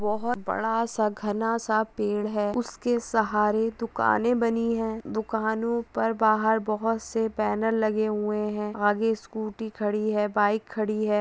बहुत बड़ा सा घना सा पेड़ है उसके सहारे दूकानें बनी है दुकानों पर बाहर बहुत से बैनर लगे हुए है आगे स्कूटी खड़ी है बाइक खड़ी है।